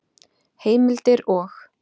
Heimildir og